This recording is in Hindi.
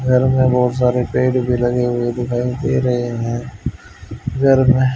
घर मे बहुत सारे पेड़ लगे हुए दिखाई दे रहे हैं इधर में--